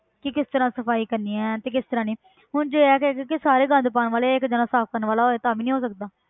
ਕਿ ਕਿਸ ਤਰ੍ਹਾਂ ਸਫ਼ਾਈ ਕਰਨੀ ਹੈ ਤੇ ਕਿਸ ਤਰ੍ਹਾਂ ਨਹੀਂ ਹੁਣ ਜੇ ਇਹ ਹੈਗਾ ਕਿ ਸਾਰੇ ਗੰਦ ਪਾਉਣ ਵਾਲੇ ਇੱਕ ਜਾਣਾ ਸਾਫ਼ ਕਰਨ ਵਾਲਾ ਹੋਏ ਤਾਂ ਵੀ ਨੀ ਹੋ ਸਕਦਾ